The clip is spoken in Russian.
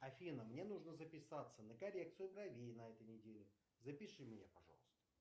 афина мне нужно записаться на коррекцию бровей на этой неделе запиши меня пожалуйста